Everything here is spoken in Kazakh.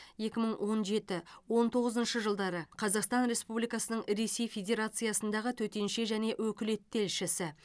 екі мың он жеті он тоғызыншы жылдары қазақстан республикасының ресей федерациясындағы төтенше және өкілетті елшісі